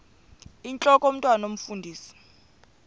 intlok omntwan omfundisi